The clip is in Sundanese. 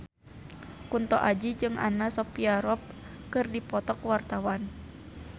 Kunto Aji jeung Anna Sophia Robb keur dipoto ku wartawan